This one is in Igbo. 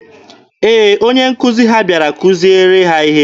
Ee, onye nkuzi ha bịara kuziere ha ihe.